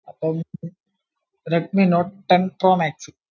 Redmi note ten pro max